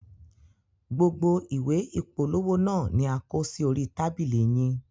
Gbogbo ìwé ìpolówó naa ni a kò sí orí tábìlì yín.